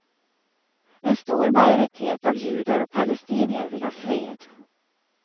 En stor majoritet av judar och palestinier vill ha fred.